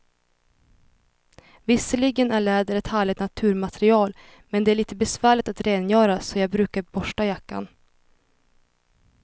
Visserligen är läder ett härligt naturmaterial, men det är lite besvärligt att rengöra, så jag brukar borsta jackan.